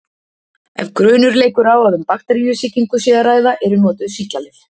Ef grunur leikur á að um bakteríusýkingu sé að ræða eru notuð sýklalyf.